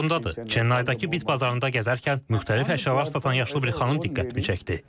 Yadımdadır, Çennaydakı Bit bazarında gəzərkən müxtəlif əşyalar satan yaşlı bir xanım diqqətimi çəkdi.